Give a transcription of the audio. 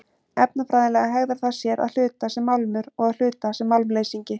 Efnafræðilega hegðar það sér að hluta sem málmur og að hluta sem málmleysingi.